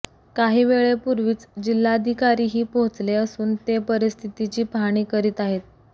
काही वेळेपुर्वीच जिल्हाधिकारीही पोहचले असून ते परिस्थितीची पहाणी करीत आहेत